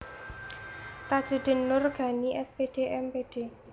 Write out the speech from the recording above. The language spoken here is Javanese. Tajuddin Noor Ganie S Pd M Pd